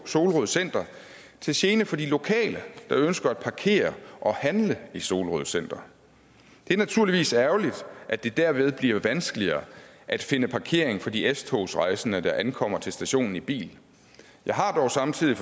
solrød center til gene for de lokale der ønsker at parkere og handle i solrød center det er naturligvis ærgerligt at det derved bliver vanskeligere at finde parkering for de s togsrejsende der ankommer til stationen i bil jeg har dog samtidig